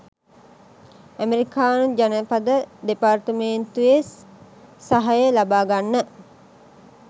ඇමරිකානු ජනපද දෙපාර්තමේන්තුවේ සහය ලබා ගන්න